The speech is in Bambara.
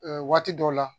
waati dɔw la